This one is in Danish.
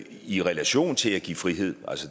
i relation til at give frihed